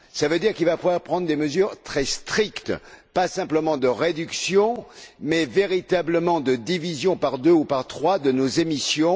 Cela veut dire qu'il va falloir prendre des mesures très strictes, pas simplement de réduction, mais véritablement de division par deux ou par trois de nos émissions.